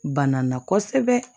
Banna na kosɛbɛ